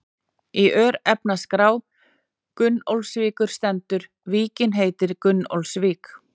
Í örnefnaskrá Gunnólfsvíkur stendur: Víkin heitir Gunnólfsvík.